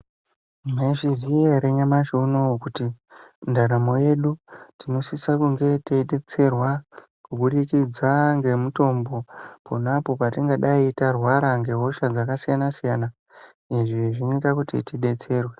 Mwaizviziya ere nyamashi unowu kuti , ndaramo yedu tinosisa kunge teitetserwa kubudikidza ngemitombo pona apo patingadai tarwara ngehosha dzakasiyana-siyana .Izvi zvinoita kuti tidetserwe.